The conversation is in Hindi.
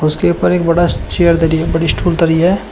उसके ऊपर एक बड़ा स चेयर धरी है बड़ी स्टूल धरी है।